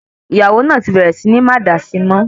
Ìyàwó náà tí bẹ̀rẹ̀ sì ní máa dá síi mọ́